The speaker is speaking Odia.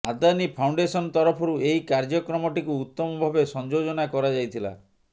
ଆଦାନୀ ଫାଉଣ୍ଡେସନ ତରଫରୁ ଏହି କାର୍ଯ୍ୟକ୍ରମଟିକୁ ଉତ୍ତମ ଭାବେ ସଂଯୋଜନା କରାଯାଇଥିଲା